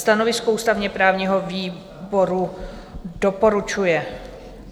Stanovisko ústavně-právního výboru: Doporučuje.